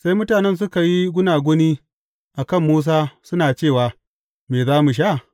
Sai mutanen suka yi gunaguni a kan Musa, suna cewa, Me za mu sha?